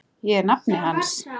Ég er nafni hans.